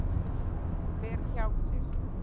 Fer hjá sér.